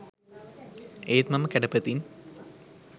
ඒත් මම කැඩපතින්